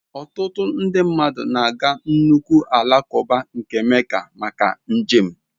Ọtụtụ nde mmadụ na-aga nnukwu alakụba nke Mecca maka njem.